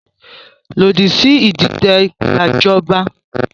Lòdì sí ìdìtẹ̀ gbajọba!